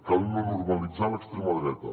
cal no normalitzar l’extrema dreta